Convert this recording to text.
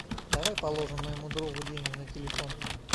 давай положим моему другу деньги на телефон